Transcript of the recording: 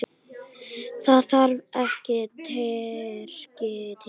Það þarf ekki Tyrki til.